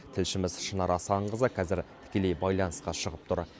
тілшіміз шынар асанқызы қазір тікелей байланысқа шығып тұр